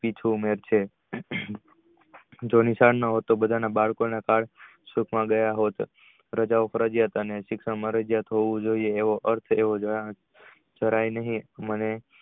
જુમે છે જો નિશાળ નોહોય તો બધા ના બાળકો ના ગયા હોત તો બધા ના બાળકો ના card ગયા હોત સિક ફરજીયાત અને સિકા મરજિયાત હોવું જોયે એવો અર્થ કરાય નહિ.